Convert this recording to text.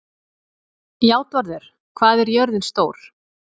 Játvarður, hvað er jörðin stór?